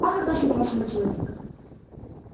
а как насчёт вашего человека